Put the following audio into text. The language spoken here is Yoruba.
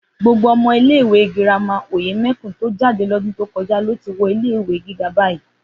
Gbogbo ọmọ ilé ìwé girama Òyèmẹkùn tó jáde lọ́dún tó kọjá lo ti wọ ilé ìwé gíga bayii